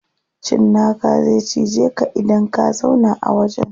Cinnaka zai cije ka idan ka zauna a wajen.